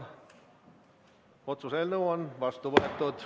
Otsuse eelnõu on vastu võetud.